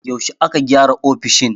Yaushe aka gyara ofishin?